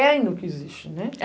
É ainda o que existe, né?